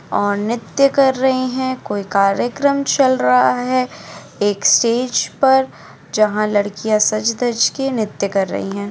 और नित्य कर रहे हैं कोई कार्यक्रम चल रहा है एक्सचेंज पर जहां लड़कियां सज धज के नित्य कर रही हैं|